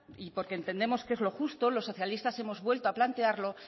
y porque entendemos que es lo justo los socialistas hemos vuelto a plantearlo